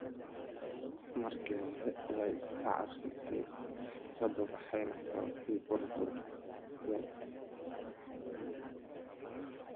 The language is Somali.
Markii hore way iska caabisay fikradda waxayna sababtay burbur yar.